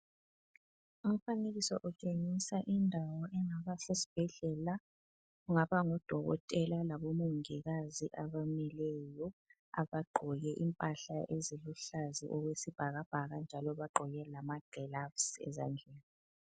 Umfanekiso lo utshengisa indawo engaba sesibhedlela, kungaba ngudokotela labomongikazi abamileyo. Bagqoke impahla eziluhlaza okwesibhakabhaka njalo bagqoke lamagilavusi ezandleni.